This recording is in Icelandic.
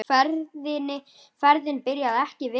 Ferðin byrjaði ekki vel.